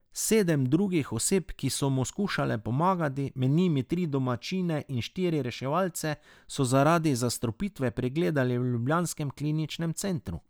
Sedem drugih oseb, ki so mu skušale pomagati, med njimi tri domačine in štiri reševalce, so zaradi zastrupitve pregledali v ljubljanskem kliničnem centru.